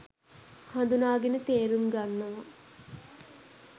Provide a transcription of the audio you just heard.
හඳුනාගෙන තේරුම් ගන්නවා.